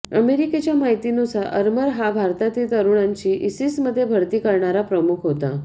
अमेरिकेच्या माहितीनुसार अरमर हा भारतातील तरुणांची इसिसमध्ये भरती करणारा प्रमुख होता